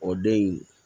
O den in